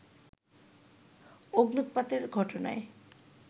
অগ্ন্যুৎপাতের ঘটনায়